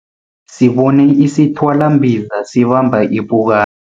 Sibone isithwalambiza sibamba ipuka